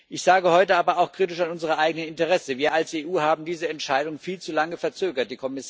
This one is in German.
Ich sage heute aber auch kritisch an unsere eigene Adresse Wir als EU haben diese Entscheidung viel zu lange verzögert.